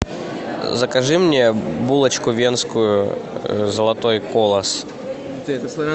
закажи мне булочку венскую золотой колос